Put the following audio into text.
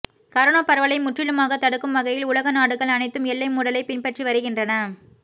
corona பரவலை முற்றிலுமாகத் தடுக்கும் வகையில் உலக நாடுகள் அனைத்தும் எல்லை மூடலைப் பின்பற்றி வருகின்றன